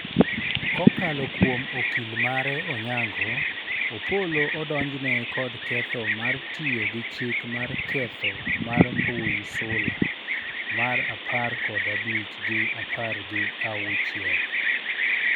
kokalo kuom okil mare Onyango, Opollo odonjne kod ketho mar tiyo gi chik mar ketho mar mbui sula mar apar kod abich gi apar gi auchiel